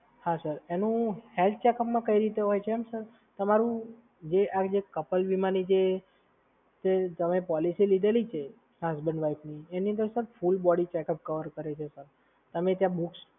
અને હેલ્થ ચેકઅપમાં કઈ રીતે હોય છે, એમ સર? તમારી જે આ જે કપલ વિમાની જે તમે પોલિસી લીધેલી છે આ હસબન્ડ વાઈફની એની અંદર ફૂલ બોડી કવર કર્યું છે, સર.